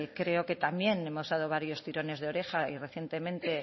creo que también hemos dado varios tirones de oreja y recientemente